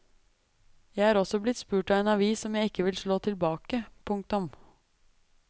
Jeg er også blitt spurt av en avis om jeg ikke vil slå tilbake. punktum